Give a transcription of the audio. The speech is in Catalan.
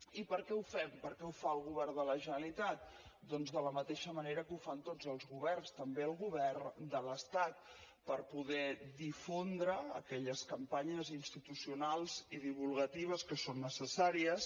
i per què ho fem per què ho fa el govern de la generalitat doncs de la mateixa manera que ho fan tots els governs també el govern de l’estat per poder difondre aquelles campanyes institucionals i divulgatives que són necessàries